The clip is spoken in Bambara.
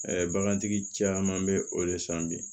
bagantigi caman bɛ o de san bi